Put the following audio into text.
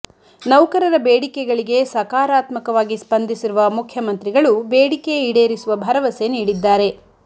ನೌಕರರ ಬೇಡಿಕೆಗಳಿಗೆ ಸಕಾರಾತ್ಮಕವಾಗಿ ಸ್ಪಂದಿಸಿರುವ ಮುಖ್ಯಮಂತ್ರಿಗಳು ಬೇಡಿಕೆ ಈಡೇರಿಸುವ ಭರವಸೆ ನೀಡಿದ್ದಾರೆ